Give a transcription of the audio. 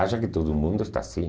Acha que todo mundo está assim.